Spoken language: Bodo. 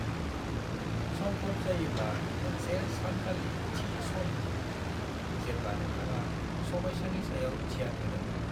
संभव जायोब्ला मोनसे सानखालि थि सम हो, जेब्ला नोंथाङा समस्यानि सायाव ध्यान होदोंमोन।